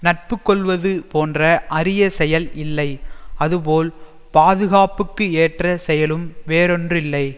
நட்பு கொள்வது போன்ற அரிய செயல் இல்லை அதுபோல் பாதுகாப்புக்கு ஏற்ற செயலும் வேறொன்றில்லை